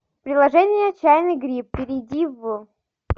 приложение чайный гриб перейди в